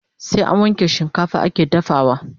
Sai an wanke shikafa ake dafawa